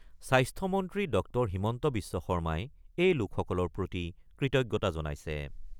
স্বাস্থ্যমন্ত্ৰী ড হিমন্ত বিশ্ব শৰ্মাই এই লোকসকলৰ প্ৰতি কৃতজ্ঞতা জনাইছে।